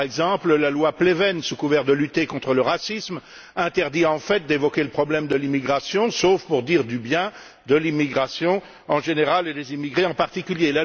Par exemple, la loi Pleven, sous couvert de lutter contre le racisme, interdit en fait d'évoquer le problème de l'immigration sauf pour dire du bien de l'immigration, en général, et des immigrés, en particulier.